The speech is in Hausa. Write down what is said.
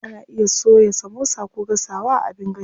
Ana iya soya samosa ko gasawa a abin gashi.